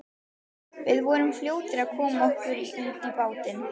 Við vorum fljótir að koma okkur út í bátinn.